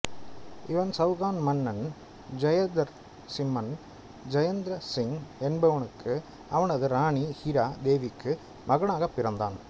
இவன் சௌகான் மன்னன் ஜெய்த்ரசிம்மன் ஜெய்த்ரா சிங் என்பவனுக்கும் அவனது இராணி ஹிரா தேவிக்கும் மகனாகப் பிறந்தான்